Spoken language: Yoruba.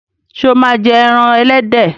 ṣe o ma jé èràn elédè.